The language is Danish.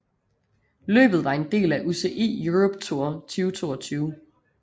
Løbet var en del af UCI Europe Tour 2022